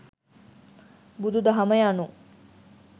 බුදු දහම යනු